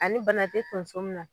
Ani bana te tonso min na